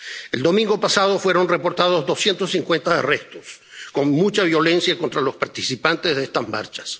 El domingo pasado fueron reportados 250 arrestos, con mucha violencia contra los participantes de estas marchas.